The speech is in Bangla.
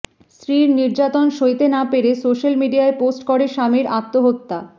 স্ত্রীর নির্যাতন সইতে না পেরে সোশ্যাল মিডিয়ায় পোস্ট করে স্বামীর আত্মহত্যা